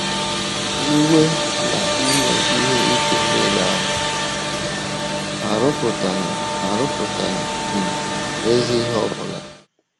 “ Iwe na ime ihe ike nile ahụ arụpụtaghị arụpụtaghị um ezi ihe ọ bụla ”